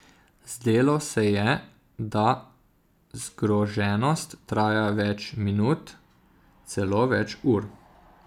Zdelo se je, da je zgroženost trajala več minut, celo več ur.